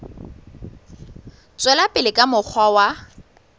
tswela pele ka mokgwa wa